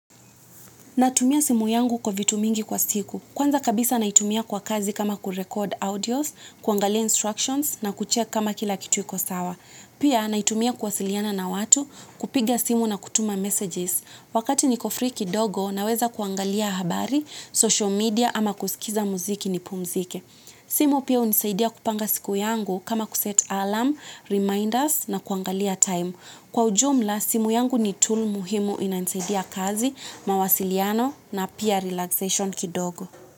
Natumia simu yangu kwa vitu mingi kwa siku. Kwanza kabisa naitumia kwa kazi kama kurekodi audios, kuangalia instructions na kucheki kama kila kitu iko sawa. Pia naitumia kuwasiliana na watu kupiga simu na kutuma messages. Wakati niko free kidogo naweza kuangalia habari, social media ama kusikiza muziki nipumzike. Simu pia hunisaidia kupanga siku yangu kama kuset alarm, reminders na kuangalia time. Kwa ujumla, simu yangu ni tool muhimu inanisaidia kazi, mawasiliano na pia relaxation kidogo.